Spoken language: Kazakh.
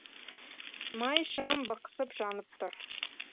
май шам бықсып жанып тұр